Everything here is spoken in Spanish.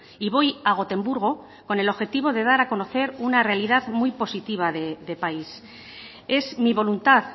y voy a gotemburgo con el objetivo de dar a conocer una realidad muy positiva de país es mi voluntad